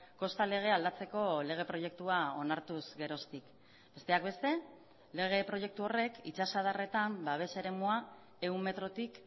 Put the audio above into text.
kosta legea aldatzeko lege proiektua onartuz geroztik besteak beste lege proiektu horrek itsasadarretan babes eremua ehun metrotik